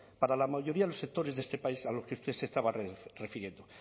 para la mayoría de los sectores de este país a los que usted se estaba refiriendo